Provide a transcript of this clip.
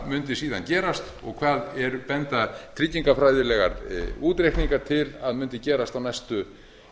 mundi síðan gerast og hvað benda tryggingafræðilegir útreikningar til að mundi gerast á næstu